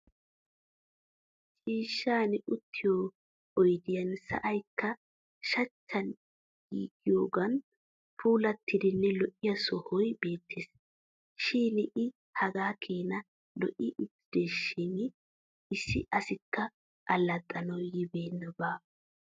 Ciishshan uttiyo oydiyan sa'aykka shuchchan giigiyoogan puulattidanne lo'iya sohoy beettes. Shin i hagaa keena io'i uttidaashin issi asikka allaxxanawu yiidabi baawa.